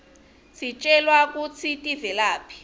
sitjelwa kutsi tivelaphi